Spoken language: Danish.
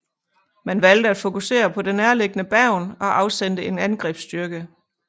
Man valgte at fokusere på det nærliggende Bergen og afsendte en angrebsstyrke